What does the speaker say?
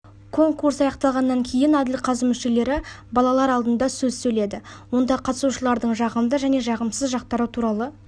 конкурс аяқталғаннан кейін әділқазы мүшелері балалар алдында сөз сөйледі онда қатысушыларының жағымды және жағымсыз жақтары туралы